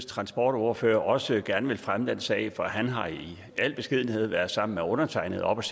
transportordfører også gerne vil fremme den sag for han har i al beskedenhed været sammen med undertegnede oppe